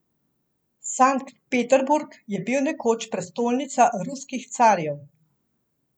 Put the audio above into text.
Sankt Peterburg je bil nekoč prestolnica ruskih carjev.